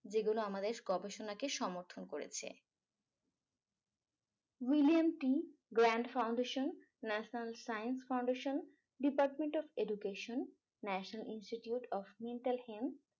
যেগুলো আমাদের গবেষণাকে সমর্থন করেছে william t grant foundation national science foundation department of education national institute of mental health